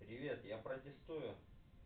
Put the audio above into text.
привет я протестую